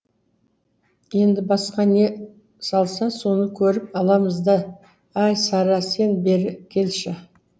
енді басқа не салса соны көріп аламыз да әй сара сен бері келші